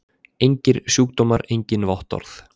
Engir sjúkdómar engin vottorð!